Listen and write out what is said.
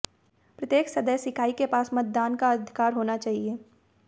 प्रत्येक सदस्य इकाई के पास मतदान का अधिकार होना चाहिए